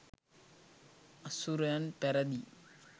අසුරයන් පැරැදී